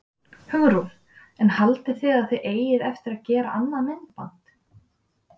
Hugrún: En haldið þið að þið eigið eftir að gera annað myndband?